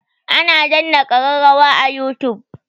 Ana danna kararrawa a youtube.